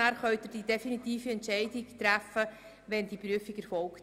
Dann können Sie die definitive Entscheidung nach erfolgter Prüfung treffen.